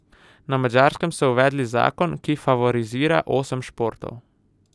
Na Madžarskem so uvedli zakon, ki favorizira osem športov.